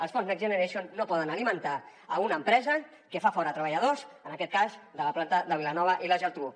els fons next generation no poden alimentar una empresa que fa fora treballadors en aquest cas de la planta de vilanova i la geltrú